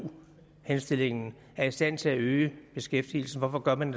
henstillingen er i stand til at øge beskæftigelsen hvorfor gør man